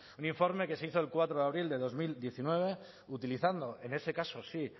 un informe que se hizo el cuatro de abril de dos mil diecinueve utilizando en ese caso sí